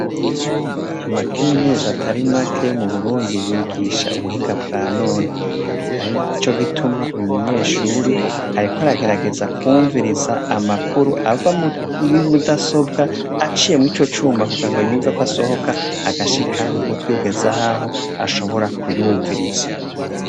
Amake minuzi atari make yo mu burundi yigisha ubuhinga bwa none, arico gituma uyu munyeshuri areko aragerageza kwumviriza amakuru ava imudasobwa aciyemwo ico cuma kugira ngo yumveko asohoka agashika mu butwi kugeza ahaho ashobora kuyumviriza.